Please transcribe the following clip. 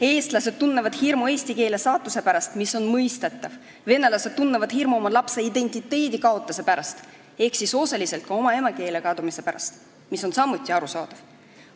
Eestlased tunnevad hirmu eesti keele saatuse pärast, mis on mõistetav, venelased tunnevad hirmu oma lapse identiteedikaotuse pärast ehk siis osaliselt ka emakeele kadumise pärast, mis on samuti arusaadav.